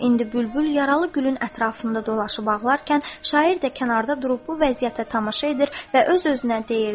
İndi bülbül yaralı gülün ətrafında dolaşıb ağlarkən, şair də kənarda durub bu vəziyyətə tamaşa edir və öz-özünə deyirdi.